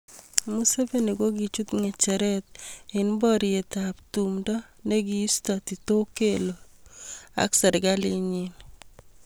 Museveni kokichut ngecheret eng boriet ab tumndo nikiisto Tito Okello Lutwa ak serkalit nyin.